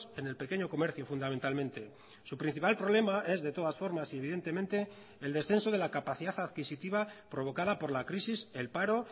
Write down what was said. en el pequeño comercio fundamentalmente su principal problema es de todas formas y evidentemente el descenso de la capacidad adquisitiva provocada por la crisis el paro